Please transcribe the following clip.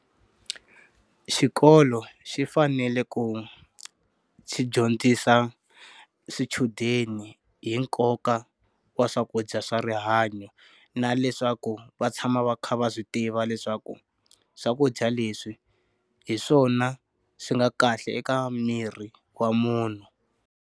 Xikolo xi fanele ku xi dyondzisa swichudeni hi nkoka wa swakudya swa rihanyo na leswaku va tshama va kha va swi tiva leswaku, swakudya leswi hi swona swi nga kahle eka miri wa munhu.